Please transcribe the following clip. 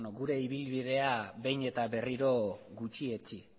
gure ibilbidea behin eta berriro gutxietsi